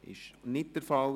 – Das ist nicht der Fall.